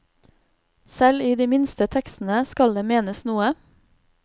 Selv i de minste tekstene skal det menes noe.